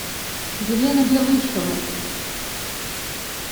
елена белышева